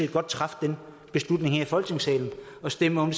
godt træffe den beslutning her i folketingssalen og stemme om